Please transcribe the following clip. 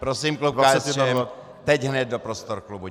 Prosím klub KSČM teď hned do prostor klubu.